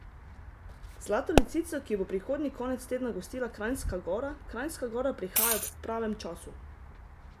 Zlato lisico, ki jo bo prihodnji konec tedna gostila Kranjska Gora: "Kranjska Gora prihaja ob pravem času.